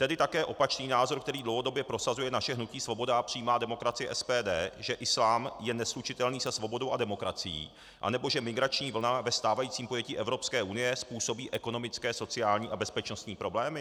Tedy také opačný názor, který dlouhodobě prosazuje naše hnutí Svoboda a přímá demokracie, SPD, že islám je neslučitelný se svobodou a demokracií, anebo že migrační vlna ve stávajícím pojetí evropské unie způsobí ekonomické, sociální a bezpečnostní problémy?